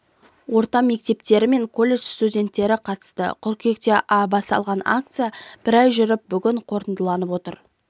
орта мектептері мен коллежд студентері қатысты қыркүйекте басталған акция бір ай жүріп бүгін қорытындыланып отыр